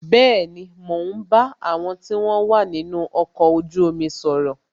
Bẹẹni, mo ń bá àwọn tí wọn wà nínú ọkọ̀ ojú omi sọ̀rọ̀